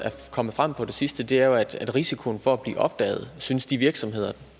kommet frem på det sidste er jo at risikoen for at blive opdaget synes de virksomheder